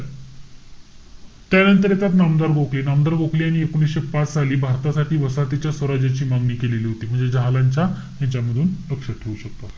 त्यानंतर येतात, नामदार गोखले. नामदार गोखले यांनी एकोणीशे पाच साली भारतासाठी वसाहतीच्या स्वराज्याची मागणी केलेली होती. म्हणजे जहालांच्या ह्याच्यामधून लक्षात ठेवू शकतात.